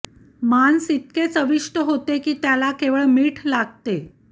मांस इतके चविष्ट होते की त्याला केवळ मीठ लागते